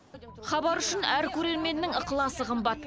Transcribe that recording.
хабар үшін әр көрерменнің ықыласы қымбат